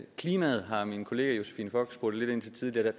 klimaet har min kollega josephine fock spurgt lidt ind til tidligere